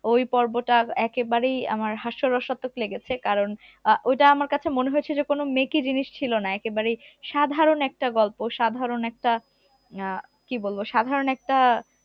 ওই পর্বটা একেবারেই আমার হাস্য রসাত্মক লেগেছে কারণ আহ ওইটা আমার মনে হয়েছে যে কোন মেকি জিনিস ছিল না একেবারে সাধারণ একটা গল্প সাধারণ একটা আহ কি বলবো সাধারণ একটা